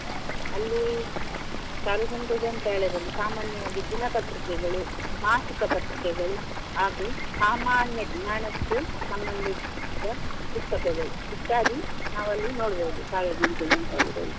ಅಲ್ಲಿ ಸಾರ್ವಜನಿಕ ಗ್ರಂಥಾಲಯದಲ್ಲಿ ಸಾಮಾನ್ಯವಾಗಿ ದಿನಪತ್ರಿಕೆಗಳು, ಮಾಸಿಕ ಪತ್ರಿಕೆಗಳು ಹಾಗು ಸಾಮಾನ್ಯ ಜ್ಞಾನಕ್ಕೆ ಸಂಬಂಧಿಸಿದ ಪುಸ್ತಕಗಳು ಇತ್ಯಾದಿ ನಾವಲ್ಲಿ ನೋಡ್ಬೋದು ಸಾರ್ವಜನಿಕ ಗ್ರಂಥಾಲಯದಲ್ಲಿ.